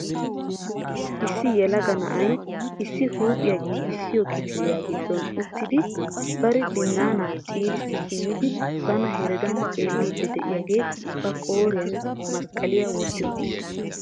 Issi yelaga na'ay issi huuphiyaa giigissiyo kifiliyaa giddon uttidi bari binaanaa ciirissi simmidi bana heregan xeelliidi de'iyaagee ba qooriyaan masqqaliya wotti uttiis.